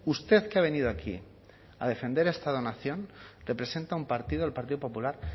usted que ha venido aquí a defender el estado de la nación representa a un partido el partido popular